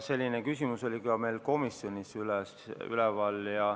Selline küsimus oli ka meil komisjonis.